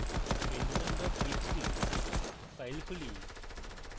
pendulum txt file খুলি